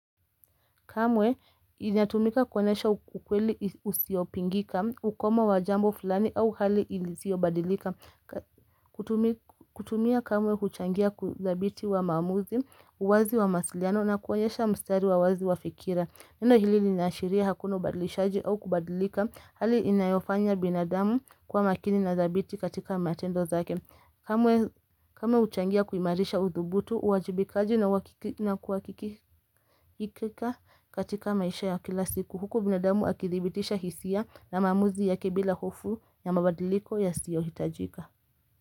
Kamwe inatumika kuonesha ukweli usiopingika, ukoma wajambo fulani au hali ilisio badilika. Kutumia kamwe huchangia kuthabiti wa maamuzi, uwazi wa masiliano na kuonesha mstari wawazi wa fikira. Neno hili ninaashiria hakuna ubadilishaji au kubadilika hali inayofanya binadamu kuwa makini na thabiti katika matendo zake. Kamwe uchangia kuimarisha uthubutu, uwajibikaji na kuwakikika katika maisha ya kila siku. Huko binadamu akithibitisha hisia na maamuzi yake bila hofu ya mabadiliko yasiyo hitajika.